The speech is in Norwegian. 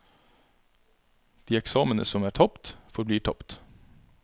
De eksamene som er tapt, forblir tapt.